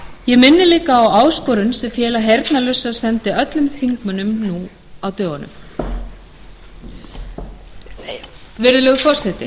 ég minni líka á áskorun sem félag heyrnarlausra sendi öllum þingmönnum nú á dögunum virðulegur forseti